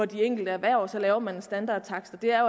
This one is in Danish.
de enkelte erhverv og så laver man en standardtakst og det er